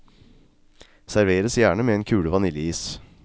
Serveres gjerne med en kule vaniljeis.